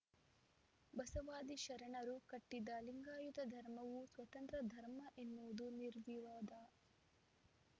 ಬಸವಾದಿ ಶರಣರು ಕಟ್ಟಿದ ಲಿಂಗಾಯತ ಧರ್ಮವು ಸ್ವತಂತ್ರ ಧರ್ಮ ಎನ್ನುವುದು ನಿರ್ವಿವಾದ